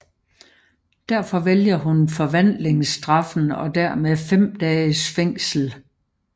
Derfor vælger hun forvandlingsstraffen og dermed 5 dages fængsel